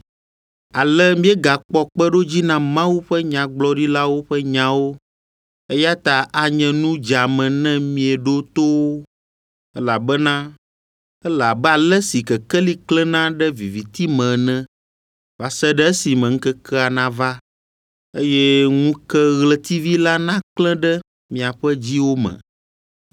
Ale míegakpɔ kpeɖodzi na Mawu ƒe nyagblɔɖilawo ƒe nyawo, eya ta anye nu dzeame ne mieɖo to wo, elabena ele abe ale si kekeli klẽna ɖe viviti me ene va se ɖe esime ŋkekea nava, eye ŋukeɣletivi la naklẽ ɖe miaƒe dziwo me.